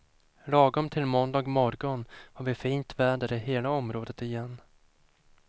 Lagom till måndag morgon har vi fint väder i hela området igen.